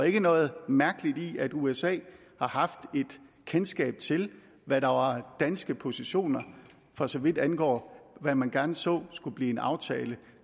ikke noget mærkeligt i at usa har haft et kendskab til hvad der var danske positioner for så vidt angår hvad man gerne så skulle blive en aftale